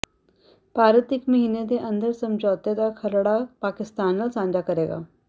ਭਾਰਤ ਇਕ ਮਹੀਨੇ ਦੇ ਅੰਦਰ ਸਮਝੌਤੇ ਦਾ ਖਰੜਾ ਪਾਕਿਸਤਾਨ ਨਾਲ ਸਾਂਝਾ ਕਰੇਗਾ